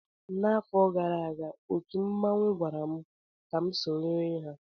N'afọ gara aga, otu mmanwụ gwara m ka m sonyere ha